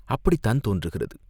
அப்படித் தான் தோன்றுகிறது.